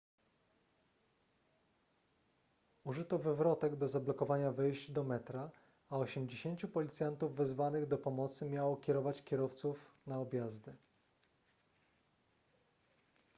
użyto wywrotek do zablokowania wejść do metra a 80 policjantów wezwanych do pomocy miało kierować kierowców na objazdy